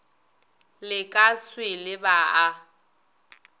le ka swele ba a